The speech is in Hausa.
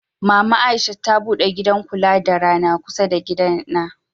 Mama Aisha ta bude gidan kula da rana kusa da gidana.